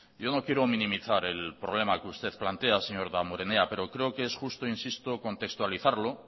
yo no quiero minimizar el problema que usted plantea señor damborenea pero creo que es justo insisto contextualizarlo